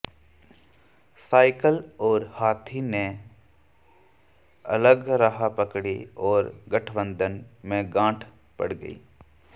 cycle और हाथी ने अलग राह पकड़ी और गठबंधन में गांठ पड़ गर्इं